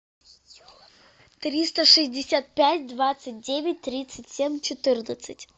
триста шестьдесят пять двадцать девять тридцать семь четырнадцать